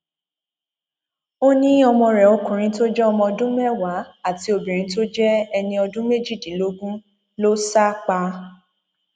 ó ní ọmọ rẹ ọkùnrin tó jẹ ọmọ ọdún mẹwàá àti obìnrin tó jẹ ẹni ọdún méjìdínlógún ló sá pa